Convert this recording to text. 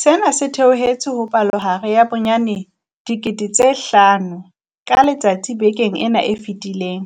Sena se theohetse ho palohare ya bonyane 5 000 ka letsatsi bekeng ena e fetileng.